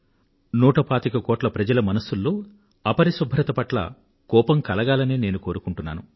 నూట పాతిక కోట్ల మంది ప్రజల మనసుల్లో అపరిశుభ్రత పట్ల కోపం కలగాలనే నేను కోరుకుంటున్నాను